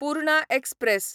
Purna express